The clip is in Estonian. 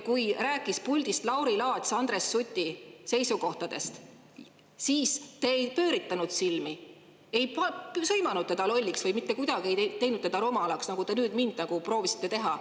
Kui Lauri Laats rääkis puldist Andres Suti seisukohtadest, siis te ei pööritanud silmi, ei sõimanud teda lolliks, mitte kuidagi ei teinud teda rumalaks, nagu te nüüd mind proovisite teha.